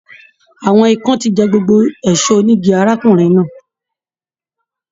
Àwọn ìkan tí jẹ gbogbo ẹṣọ onígí arákùnrin náà.